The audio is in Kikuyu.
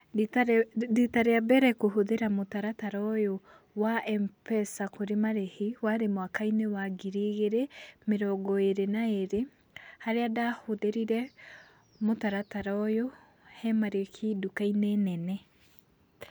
Rita, rita rĩa mbere kũhũthĩra mũtaratara ũyũ wa M-Pesa kũrĩ marĩhi warĩ mwaka-inĩ wa ngiri igĩrĩ, mĩrongo ĩri na ĩri harĩa ndahũthĩrire mũtaratara ũyũ he marĩhi nduka-inĩ nene.